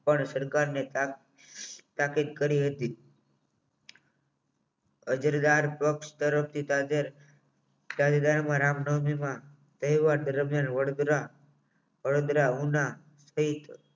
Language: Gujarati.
પણ સરકારને તાકાત કરી હતી પક્ષ તરફથી નામનવમીમાં તહેવાર દરમિયાન વડોદરાઓના